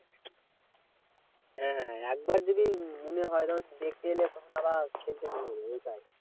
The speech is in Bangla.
হ্যাঁ হ্যাঁ একবার যদি মনে হয় না? দেখে এলে তখন আবার খেলতে মনে হবে এইটাই।